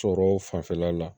Sɔrɔ fanfɛla la